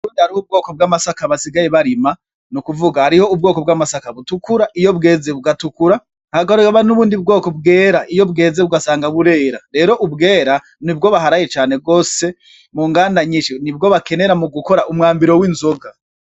Burya hariho ubwoko bw'amasaka basigaye barima n'ukuvuga hariho ubwoko bw'amasaka butukura iyo bweze bugatukura, hakaba n'ubundi bwoko bwera iyo bweze ugasanga burera rero ubwera nibwo baharaye cane gwose munganda nyinshi nibwo bakenera mu gukora umwambaro w'inzoga.